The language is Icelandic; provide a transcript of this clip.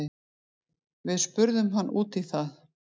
Við spurðum hann út í það.